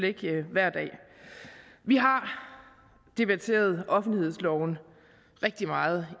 ikke hver dag vi har debatteret offentlighedsloven rigtig meget